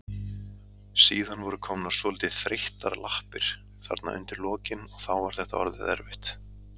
Síðan voru komnar svolítið þreyttar lappir þarna undir lokin og þá var þetta orðið erfitt.